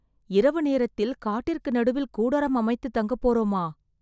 இரவு நேரத்தில் காட்டிற்கு நடுவில் கூடாரம் அமைத்து தங்க போரோமா!